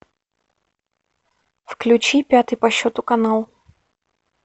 включи пятый по счету канал